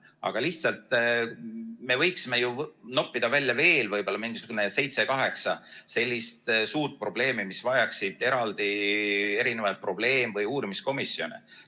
Aga lihtsalt me võiksime ju noppida välja veel võib-olla mingisugused seitse-kaheksa sellist suurt probleemi, mis vajaksid eraldi probleem- või uurimiskomisjone.